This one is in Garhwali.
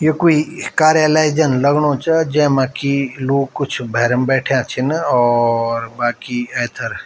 ये कोई कार्यालय जन लगणु च जैमा की लोग कुछ भैरम बैठ्याँ छिन और बाकी ऐथर।